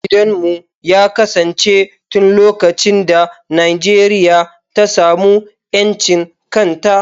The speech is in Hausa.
Gidanmu ya kasance tun lokacin da Najeriya ta samu 'yancin kan ta.